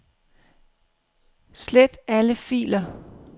Slet alle filer.